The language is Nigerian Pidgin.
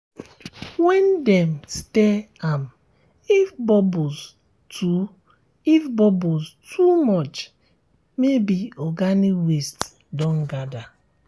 when dem stir am if bubbles too if bubbles too much maybe organic waste don gather